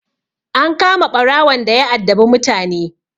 An kama ɓarawon daya addabi mutane.